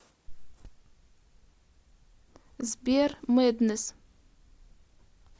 сбер мэднесс